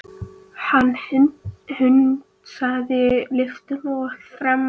Hann hundsaði lyftuna og þrammaði upp stigana.